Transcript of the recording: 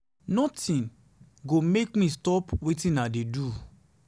nothing go make me to stop to stop wetin i dey do.